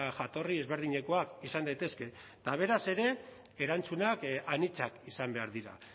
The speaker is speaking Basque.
jatorri ezberdinekoak izan daitezke eta beraz ere erantzunak anitzak izan behar dira